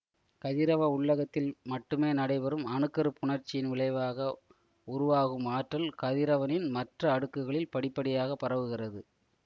கதிரவ உள்ளகத்தில் மட்டுமே நடைபெறும் அணு கரு புணர்ச்சியின் விளைவாக உருவாகும் ஆற்றல் கதிரவனின் மற்ற அடுக்குகளில் படிபடியாக பரவுகிறது